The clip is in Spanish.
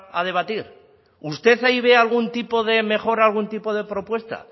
a debatir usted ahí ve algún tipo de mejora algún tipo de propuesta